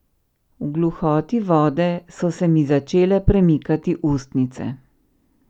V gluhoti vode so se mi začele premikati ustnice.